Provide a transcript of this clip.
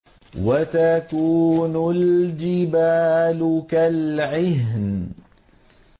وَتَكُونُ الْجِبَالُ كَالْعِهْنِ